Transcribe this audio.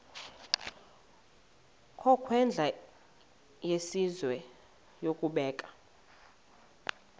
ngokwendlela yesizwe yokubeka